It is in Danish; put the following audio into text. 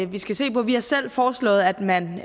vi skal se på vi har selv foreslået at man